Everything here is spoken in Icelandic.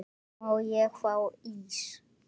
Má ég fá ís?